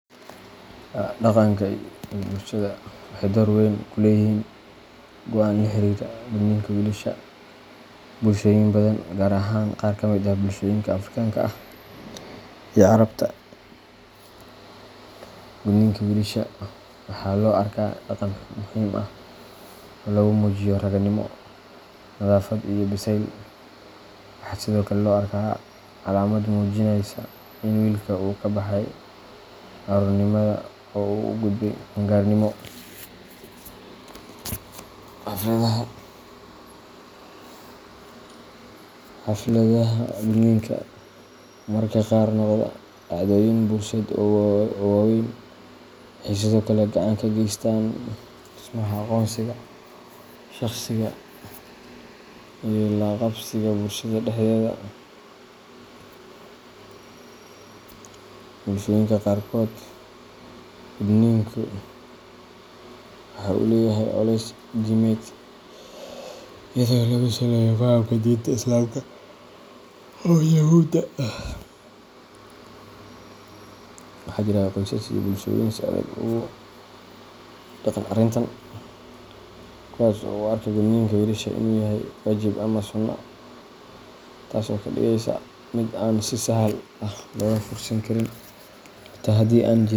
Dhaqanka iyo bulshadu waxay door weyn ku leeyihiin go’aanka la xiriira gudniinka wiilasha. Bulshooyin badan, gaar ahaan qaar ka mid ah bulshooyinka Afrikaanka ah iyo Carabta, gudniinka wiilasha waxaa loo arkaa dhaqan muhiim ah oo lagu muujiyo ragganimo, nadaafad iyo biseyl. Waxaa sidoo kale loo arkaa calaamad muujinaysa in wiilka uu ka baxay carruurnimada oo uu u gudbay qaan-gaarnimo. Xafladaha gudniinka, oo mararka qaar noqda dhacdooyin bulsheed oo wayn, waxay sidoo kale gacan ka geystaan dhismaha aqoonsiga shakhsiga iyo la-qabsiga bulshada dhexdeeda. Bulshooyinka qaarkood, gudniinku waxa uu leeyahay culays diimeed, iyadoo lagu saleeyo fahamka diinta Islaamka ama Yuhuudda. Waxaa jira qoysas iyo bulshooyin si adag ugu dheggan arrintan, kuwaas oo u arka gudniinka wiilasha inuu yahay waajib ama sunnah, taasoo ka dhigaysa mid aan si sahal ah looga fursan karin xitaa haddii an jiriin.